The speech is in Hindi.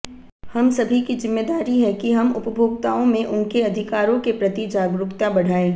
हम सभी की जिम्मेदारी है कि हम उपभोक्ताओं में उनके अधिकारों के प्रति जागरूकता बढ़ायें